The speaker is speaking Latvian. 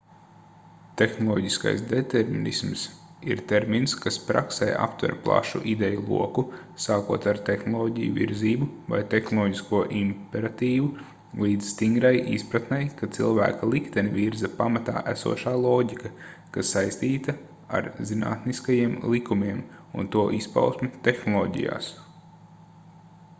tehnoloģiskais determinisms ir termins kas praksē aptver plašu ideju loku sākot ar tehnoloģiju virzību vai tehnoloģisko imperatīvu līdz stingrai izpratnei ka cilvēka likteni virza pamatā esošā loģika kas saistīta ar zinātniskajiem likumiem un to izpausmi tehnoloģijās